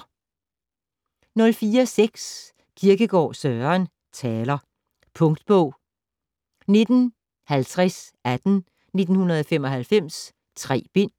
04.6 Kierkegaard, Søren: Taler Punktbog 195018 1995. 3 bind.